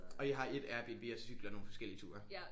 Og I har ét Airbnb og cykler nogle forskellige ture